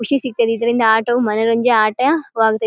ಖುಷಿ ಸಿಗ್ತಾದೆ ಇದರಿಂದ ಆಟ ಮನೋರಂಜ ಆಟ ವಾಗತೈತಿ --